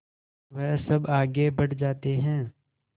वह सब आगे बढ़ जाते हैं